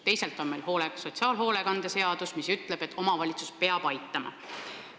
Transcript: Teisalt on meil sotsiaalhoolekande seadus, mis ütleb, et omavalitsus peab aitama.